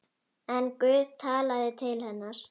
En Guð talaði til hennar.